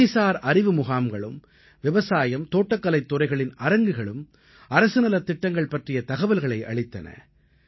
நிதிசார் அறிவு முகாம்களும் விவசாயம் தோட்டக்கலைத் துறைகளின் அரங்குகளும் அரசு நலத் திட்டங்கள் பற்றிய தகவல்களை அளித்தன